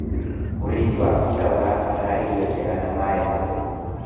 ũrĩithi wa bunda ũrabatara irio njega na maĩ matheru